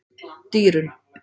Dýrunn